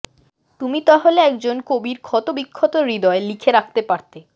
তুমি তাহলে একজন কবির ক্ষতবিক্ষত হৃদয়ে লিখে রাখতে পারতে